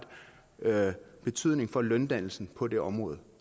betydning for løndannelsen på det område